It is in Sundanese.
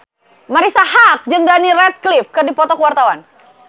Marisa Haque jeung Daniel Radcliffe keur dipoto ku wartawan